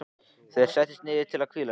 Þeir settust niður til að hvíla sig.